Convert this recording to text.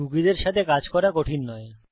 কুকীসের সাথে কাজ করা কঠিন নয়